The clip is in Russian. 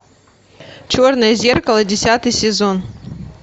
черное зеркало десятый сезон